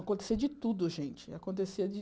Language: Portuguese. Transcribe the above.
Acontecia de tudo, gente. Acontecia de